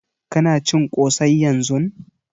Ka na cin ƙosai yanzun?